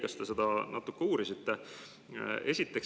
Kas te seda natukene uurisite?